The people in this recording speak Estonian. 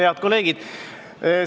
Head kolleegid!